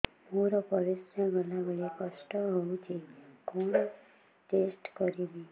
ମୋର ପରିସ୍ରା ଗଲାବେଳେ କଷ୍ଟ ହଉଚି କଣ ଟେଷ୍ଟ କରିବି